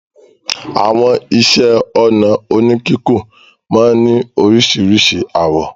Àwọn iṣẹ́-ọnà oníkíkùn máa ń ní oríṣiríṣi àwọ̀.